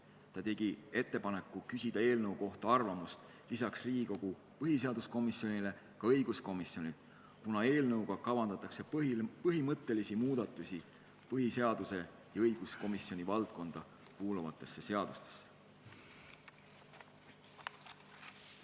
Veel tegi ta ettepaneku küsida eelnõu kohta arvamust peale põhiseaduskomisjoni ka õiguskomisjonilt, kuna eelnõuga kavandatakse teha põhimõttelisi muudatusi põhiseadus- ja õiguskomisjoni valdkonda kuuluvates seadustes.